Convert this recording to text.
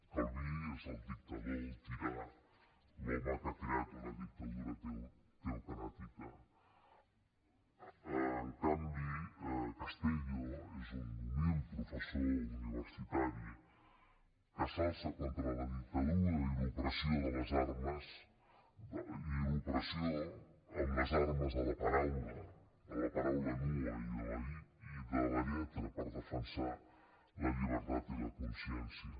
calví és el dictador el tirà l’home que ha creat una dictadura teocràtica en canvi castellio és un humil professor universitari que s’alça contra la dictadura i l’opressió amb les armes de la paraula de la paraula nua i de la lletra per defensar la llibertat i la consciència